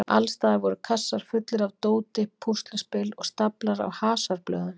Alls staðar voru kassar fullir af dóti, púsluspil og staflar af hasarblöðum.